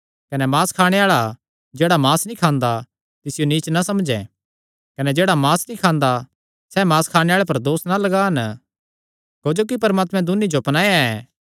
कने मांस खाणे आल़ा जेह्ड़ा मांस नीं खांदा तिसियो नीच ना समझैं कने जेह्ड़ा मांस नीं खांदा सैह़ मांस खाणे आल़े पर दोस ना लगान क्जोकि परमात्मैं दून्नी जो अपनाया ऐ